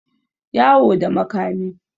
yawo da makami